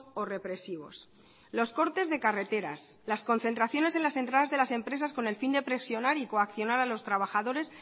o represivos los cortes de carreteras las concentraciones en las entradas de las empresas con el fin de presionar y coaccionar a los trabajadores